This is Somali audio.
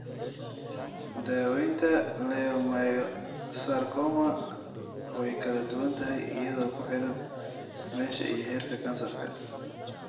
Daawaynta leiomyosarcoma way kala duwan tahay iyadoo ku xidhan meesha iyo heerka kansarka.